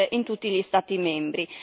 in tutti gli Stati membri.